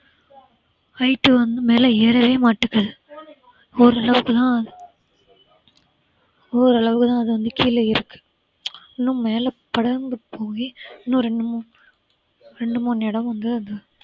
height வந்து மேல ஏறவேமாட்டேங்கிது ஓரளவுக்கு தான் ஓரளவுக்கு தான் அது வந்து கீழ இருக்கு இன்னும் மேலே படர்ந்து போயி இன்னும் ரெண்டு மூணு ரெண்டு மூணு இடம் வந்து அந்த